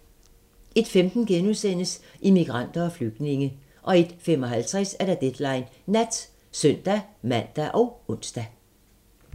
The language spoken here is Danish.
01:15: Immigranter og flygtninge * 01:55: Deadline Nat (søn-man og ons)